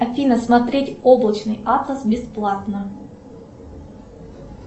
афина смотреть облачный атлас бесплатно